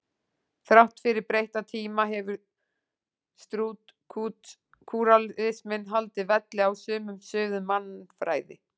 Þrátt fyrir breytta tíma hefur strúktúralisminn haldið velli á sumum sviðum mannfræði.